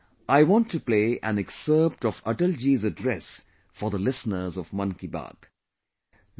Today I want to play an excerpt of Atal ji's address for the listeners of 'Mann Ki Baat'